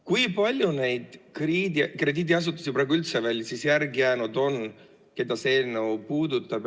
Kui palju neid krediidiasutusi praegu üldse veel järele jäänud on, keda see eelnõu puudutab?